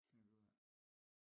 Finder vi ud af